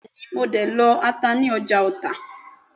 Bẹ́ẹ̀ni mo de lọ ata ní ọjà Ọta